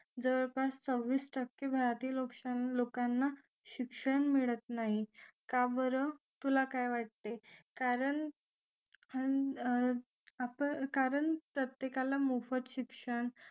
आपण सव्वीस टक्के भारतीय लोक लोकांना शिक्षण मिळत नाही का बरं तुला काय वाटते कारण हम्म कारण प्रत्येकाला मोफत शिक्षण